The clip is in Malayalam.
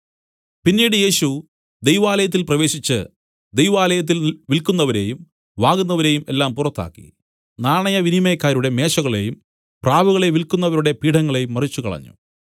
പിന്നീട് യേശു ദൈവലായത്തിൽ പ്രവേശിച്ച് ദൈവാലയത്തിൽ വില്ക്കുന്നവരെയും വാങ്ങുന്നവരെയും എല്ലാം പുറത്താക്കി നാണയവിനിമയക്കാരുടെ മേശകളെയും പ്രാവുകളെ വില്ക്കുന്നവരുടെ പീഠങ്ങളെയും മറിച്ചുകളഞ്ഞു